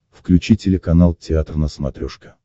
включи телеканал театр на смотрешке